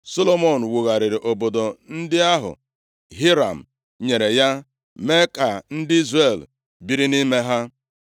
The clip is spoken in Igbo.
Solomọn wugharịrị obodo ndị ahụ Hiram + 8:2 Maọbụ, Huram nyere ya, mee ka ndị Izrel biri nʼime ha.